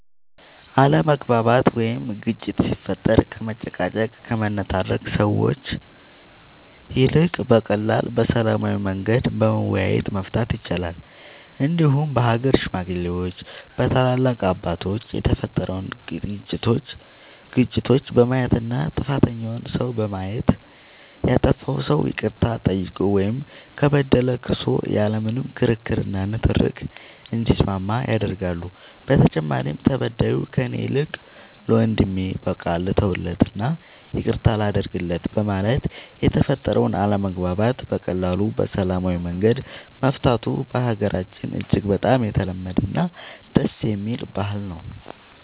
አለመግባባት ወይም ግጭት ሲፈጠር ከመጨቃጨቅ ከመነታረክ ሰዎች ይልቅ በቀላሉ በሰላማዊ መንገድ በመወያየት መፍታት ይቻላል እንዲሁም በሀገር ሽማግሌዎች በታላላቅ አባቶች የተፈጠሩትን ግጭቶች በማየት እና ጥፋተኛውን ሰው በማየት ያጠፋው ሰው ይቅርታ ጠይቆ ወይም ከበደለ ክሶ ያለ ምንም ክርክር እና ንትርክ እንዲስማማ ያደርጋሉ በተጨማሪም ተበዳዩ ከእኔ ይልቅ ለወንድሜ በቃ ልተውለት እና ይቅርታ ላድርግለት በማለት የተፈጠረውን አለመግባባት በቀላሉ በሰላማዊ መንገድ መፍታቱ በሀገራችን እጅግ በጣም የተለመደ እና ደስ የሚል ባህል ነው።